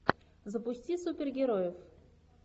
запусти супергероев